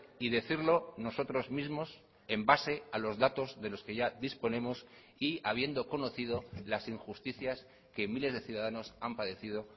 y decirlo nosotros mismos en base a los datos de los que ya disponemos y habiendo conocido las injusticias que miles de ciudadanos han padecido